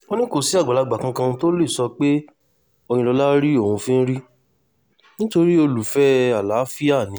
ó ní kò sí àgbàlagbà kankan tó lè sọ pé òyìnlọ́la rí òun fín rí nítorí olùfẹ́ àlàáfíà ni